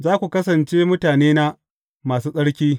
Za ku kasance mutanena masu tsarki.